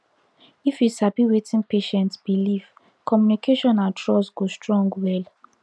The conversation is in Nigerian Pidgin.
if you sabi wetin patient believe communication and trust go strong well